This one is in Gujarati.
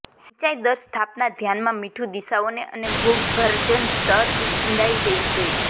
સિંચાઈ દર સ્થાપના ધ્યાનમાં મીઠું દિશાઓને અને ભૂગર્ભજળ સ્તર ઊંડાઈ લેવી જોઈએ